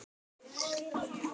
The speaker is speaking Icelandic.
Þú verður nú að viðurkenna það.